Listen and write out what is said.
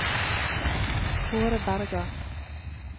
Kaare Bergan